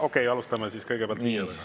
Okei, alustame siis kõigepealt viie minutiga.